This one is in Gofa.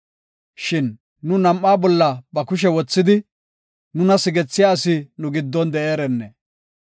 Shin nu nam7aa bolla ba kushe wothidi, nuna sigethiya asi nu giddon de7eerenne!